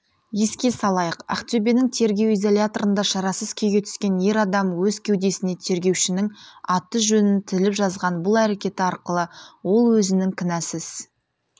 еске салайық ақтөбенің тергеу изоляторында шарасыз күйге түскен ер адамөз кеудесіне тергеушінің аты-жөнін тіліп жазған бұл әрекеті арқылы ол өзінің кінәсіз